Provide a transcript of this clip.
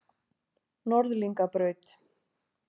Norðlingabraut